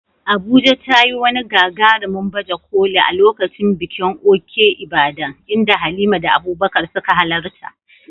Abuja ta yi wani gagarumin baje koli a lokacin bikin Òkè Ìbàdàn, inda Halima da Abubakar suka halarta.